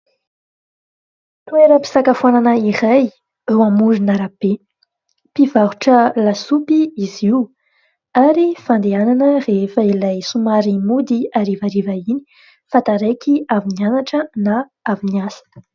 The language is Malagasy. Toeram-pisakafoanana iray eo amoron'arape, mpivarotra lasopy izy io ary fandehanana rehefa ilay somary mody harivariva iny fa taraiky avy nianatra na avy ny asa.